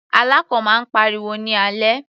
Alákàn máa ń pariwo ní alẹ́.